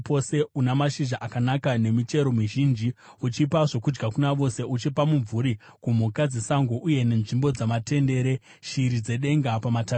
una mashizha akanaka nemichero mizhinji, uchipa zvokudya kuna vose, uchipa mumvuri kumhuka dzesango, uye nenzvimbo dzamatendere eshiri dzedenga pamatavi awo,